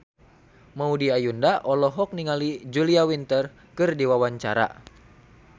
Maudy Ayunda olohok ningali Julia Winter keur diwawancara